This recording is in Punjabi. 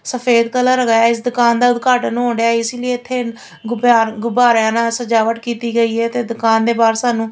ਸਫੇਦ ਕਲਰ ਹੈਗਾ ਐ ਇਸ ਦੁਕਾਨ ਦਾ ਉਦਘਾਟਨ ਹੋਣ ਡਿਆ ਇਸ ਲਈ ਇੱਥੇ ਗੁਬਿਆ ਗੁਬਾਰਿਆਂ ਨਾਲ ਸਜਾਵਟ ਕੀਤੀ ਗਈ ਹੈ ਤੇ ਦੁਕਾਨ ਦੇ ਬਾਹਰ ਸਾਨੂੰ--